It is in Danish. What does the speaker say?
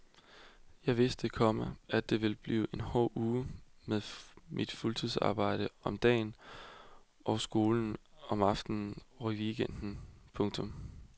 Jeg vidste, komma at det ville blive en hård uge med mit fuldtidsarbejde om dagen og skolen om aftenen og i weekenden. punktum